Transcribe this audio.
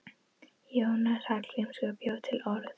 Jónas Hallgrímsson bjó til orð.